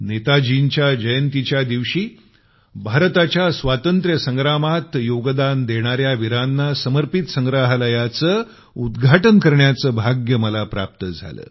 नेताजींच्या जयंतीच्या दिवशी भारताच्या स्वातंत्र्य संग्रामात योगदान देणाऱ्या वीरांना समर्पित संग्रहालयाचं उद्घाटन करण्याचं भाग्य मला प्राप्त झालं